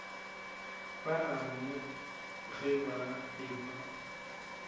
ba gagwe ge ba ekwa